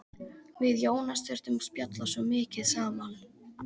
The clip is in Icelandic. Við Jónas þurftum að spjalla svo mikið saman.